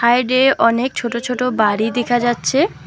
Side -এ অনেক ছোট ছোট বাড়ি দেখা যাচ্ছে।।